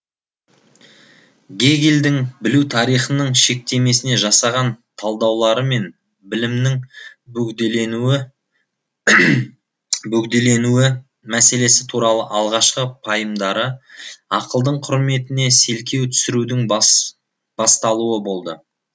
гегельдің білу тарихының шектемесіне жасаған талдаулары мен білімнің бөгделенуі мәселесі туралы алғашқы пайымдары ақылдың құрметіне селкеу түсірудің басталуы болды